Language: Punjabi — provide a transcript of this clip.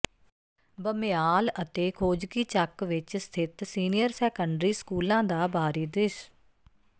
ਬਮਿਆਲ ਅਤੇ ਖੋਜਕੀਚੱਕ ਵਿੱਚ ਸਥਿਤ ਸੀਨੀਅਰ ਸੈਕੰਡਰੀ ਸਕੂਲਾਂ ਦਾ ਬਾਹਰੀ ਦ੍ਰਿਸ